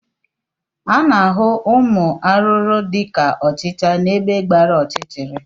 A na-ahụ ụmụ arụrụ dị ka ọchịcha n'ebe gbara ọchịchịrị